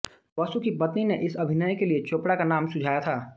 बसु की पत्नी ने इस अभिनय के लिए चोपड़ा का नाम सुझाया था